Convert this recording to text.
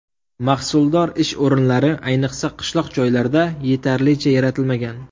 Mahsuldor ish o‘rinlari, ayniqsa qishloq joylarda, yetarlicha yaratilmagan.